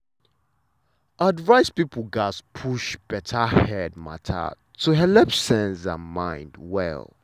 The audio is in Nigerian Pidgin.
advice people gatz push better head matter to helep sense and mind well.